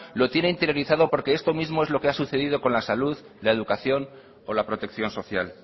lo tiene interiorizado porque esto mismo es lo que ha sucedido con la salud la educación o la protección social